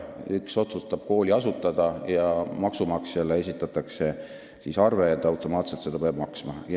Üks otsustab kooli asutada ja maksumaksjale esitatakse arve ja ta peab automaatselt maksma.